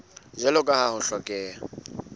jwalo ka ha ho hlokeha